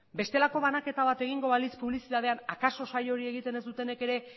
bestelako banaketa bat egingo balitz publizitatean akaso saio hori egiten ez dutenek ere